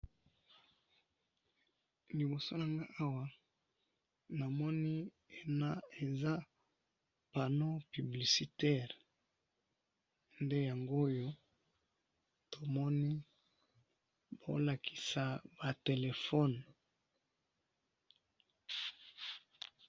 awa namoni eza ndaku ndaku na lupango ndaku ya moulayi naba couleur different nde nazomona awa naba fenetre nde nazomona.